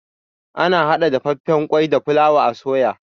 Ana hada dafaffan kwai da fulawa a soya.